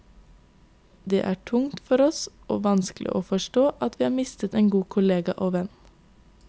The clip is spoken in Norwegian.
Det er tungt for oss, og vanskelig å forstå, at vi har mistet en god kollega og venn.